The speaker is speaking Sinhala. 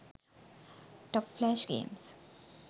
top flash games